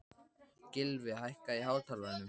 Gylfi, hækkaðu í hátalaranum.